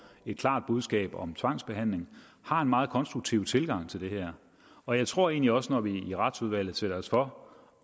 et klart budskab om tvangsbehandling har en meget konstruktiv tilgang til det her og jeg tror egentlig også at vi når vi i retsudvalget sætter os for